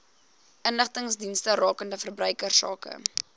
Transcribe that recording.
inligtingsdienste rakende verbruikersake